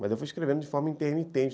Mas eu fui escrevendo de forma intermitente.